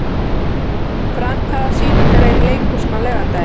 Frank, hvaða sýningar eru í leikhúsinu á laugardaginn?